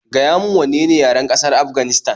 Gaya min wanne ne yaren ƙasar Afganistan